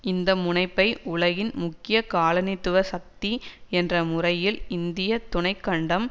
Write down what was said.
இந்த முனைப்பை உலகின் முக்கிய காலனித்துவ சக்தி என்ற முறையில் இந்திய துணை கண்டம்